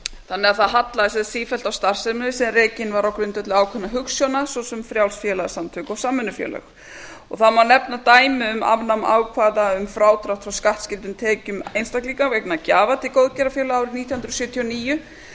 þannig að það hallaði sífellt á starfsemi sem var rekin á grundvelli ákveðinna hugsjóna svo sem frjáls félagasamtök og samvinnufélög það má nefna dæmi um afnám ákvæða um frádrátt frá skattskyldum tekjum einstaklinga vegna gjafa til góðgerðarfélaga árið nítján hundruð sjötíu og níu